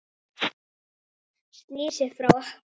Snýr sér frá okkur.